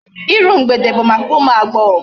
Iru mgbede bụ maka ụmụ agbọghọ.